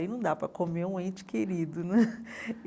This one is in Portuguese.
Aí não dá para comer um ente querido não é.